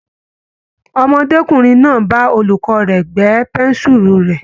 Ọmọdékùnrin náà bá olùkọ́ rẹ̀ gbẹ́ pẹ́ńsùlù rè.